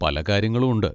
പലകാര്യങ്ങളും ഉണ്ട്.